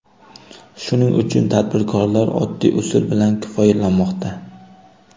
Shuning uchun tadbirkorlar oddiy usul bilan kifoyalanmoqda.